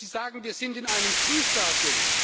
Sie sagen, wir sind in einem Frühstadium.